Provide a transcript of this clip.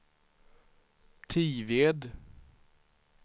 Tived